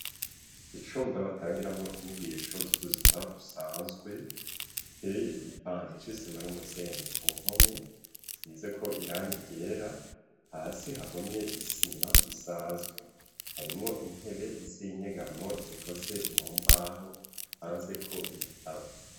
Icumba batangiramwo inyigisho z'ubuzima busanzwe giteye igipande c'isima n'umusenyi ku mpome size ko irangigera hasi hahomye isima isanzwe harimwo intebe z'inyegamo zikoze mu mbaho hanze ko ibitabo.